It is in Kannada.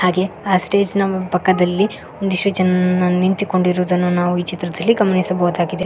ಹಾಗೆ ಆ ಸ್ಟೇಜ್ ನ ಪಕ್ಕದಲ್ಲಿ ಒಂದಿಷ್ಟು ಜನ ನಿಂತುಕೊಂಡಿರುವುದನ್ನು ನಾವು ಈ ಚಿತ್ರದಲ್ಲಿ ಗಮನಿಸಬಹುದಾಗಿದೆ.